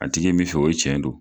A tigi ye min fɛ, o tiɲɛ don.